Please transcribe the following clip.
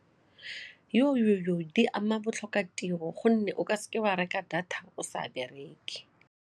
Di ama botlhokatiro gonne o ka seke wa reka data o sa bereke.